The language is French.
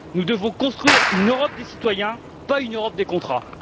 Nous devons construire une Europe des citoyens, pas une Europe des contrats!